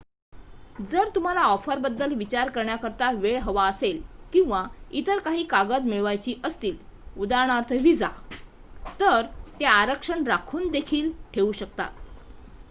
जर तुम्हाला ऑफर बद्दल विचार करण्याकरिता वेळ हवा असेल किंवा इतर काही कागद मिळवायची असतील उदा. व्हिसा तर ते आरक्षण राखून देखील ठेऊ शकतात